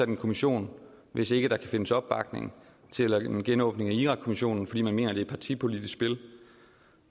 en kommission hvis ikke der kan findes opbakning til at lave en genåbning af irakkommissionen fordi man mener det er et partipolitisk spil